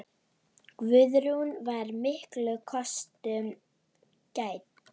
Guðrún var miklum kostum gædd.